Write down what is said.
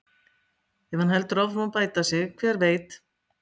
Ef hann heldur áfram að bæta sig, hver veit?